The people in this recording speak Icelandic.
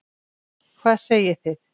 Hvað segið þið?